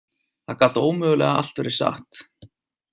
Það gat ómögulega allt verið satt.